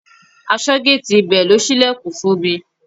Aṣọ́géètì ibẹ̀ ló ṣílẹ̀kùn fún mi.